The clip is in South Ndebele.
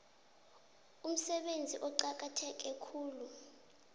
umsebenzi oqakatheke khulu